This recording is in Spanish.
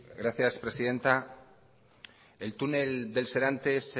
gracias presidenta el túnel del serantes